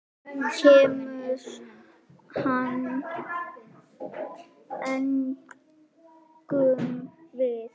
Kemur hann engum við?